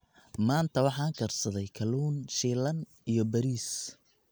Maanta waxaan karsaday kalluun shiilan iyo bariis.